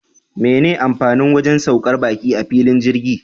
Mene amfanin wajan saukar baki a filin jirgi?